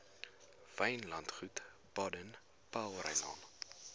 wynlandgoed baden powellrylaan